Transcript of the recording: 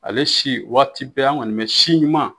Ale si waati bɛɛ an kɔni bɛ si ɲuman.